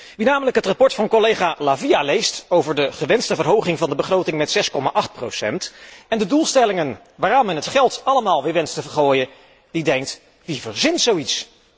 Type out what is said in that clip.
Wie namelijk het verslag van collega La Via leest over de gewenste verhoging van de begroting met 6,8 en de doelstellingen waaraan men het geld allemaal weer wenst te vergooien, die denkt wie verzint zoiets?